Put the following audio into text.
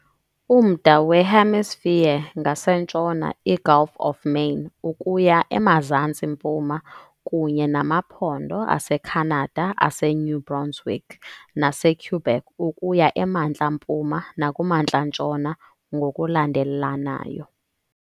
Umda weNew Hampshire ngasentshona, iGulf of Maine ukuya emazantsi mpuma, kunye namaphondo aseCanada aseNew Brunswick naseQuebec ukuya emantla mpuma nakumantla-ntshona, ngokulandelanayo.